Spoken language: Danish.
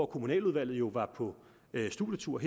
kommunaludvalget jo var på studietur